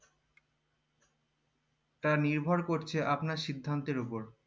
তা নির্ভর করছে আপনার সিদ্ধান্তের ওপর